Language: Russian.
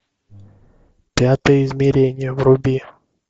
пятое измерение вруби